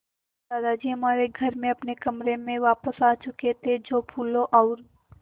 दादाजी हमारे घर में अपने कमरे में वापस आ चुके थे जो फूलों और